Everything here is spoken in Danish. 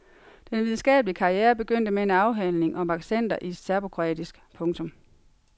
Den videnskabelige karriere begyndte med en afhandling om accenter i serbokroatisk. punktum